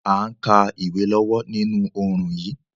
A n ka ìwé lọ́wọ́ ninú oorùn yi